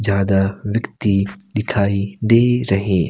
ज्यादा व्यक्ति दिखाई दे रहे--